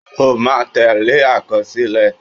O máa tẹ́lẹ̀ àkọsílẹ̀.